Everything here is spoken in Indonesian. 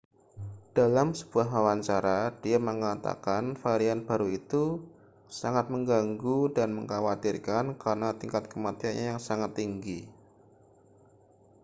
dalam sebuah wawancara dia mengatakan varian baru itu sangat mengganggu dan mengkhawatirkan karena tingkat kematiannya yang sangat tinggi